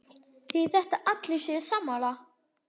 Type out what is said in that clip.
Þýðir þetta að allir séu sammála?